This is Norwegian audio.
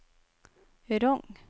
Rong